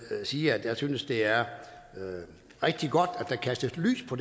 sige at jeg synes det er rigtig godt at der kastes lys på